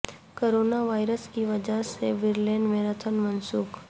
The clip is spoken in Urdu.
کورونا وائرس کی وجہ سے برلن میراتھن منسوخ